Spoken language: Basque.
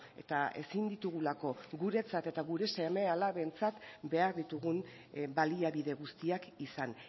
eta ezin ditugulako guretzat eta gure seme alabentzat behar ditugun baliabide guztiak izan